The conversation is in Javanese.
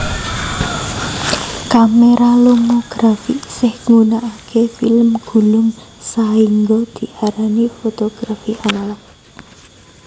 Kamera lomografi isih gunakake film gulung sahingga diarani fotografi analog